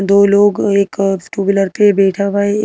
दो लोग एक टू व्हीलर पे बैठा हुआ है।